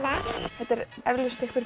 þetta er eflaust einhver